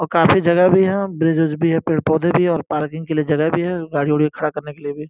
और काफी जगह भी है। ब्रिज विज भी है। पेड़ पौधे भी हैं और पार्किंग के लिए जगह भी है गाड़ी वाड़ी खड़ा करने के लिए भी --